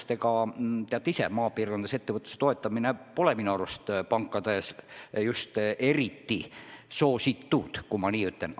Te ju teate ise ka, et maapiirkondades ettevõtluse toetamine pole pankades eriti soositud, kui nii võib öelda.